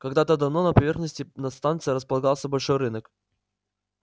когда-то давно на поверхности над станцией располагался большой рынок